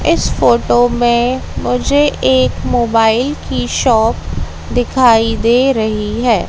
इस फोटो में मुझे एक मोबाइल की शॉप दिखाई दे रही है।